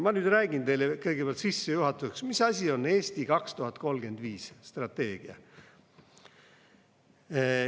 Ma nüüd räägin teile kõigepealt sissejuhatuseks, mis asi on "Eesti 2035" strateegia.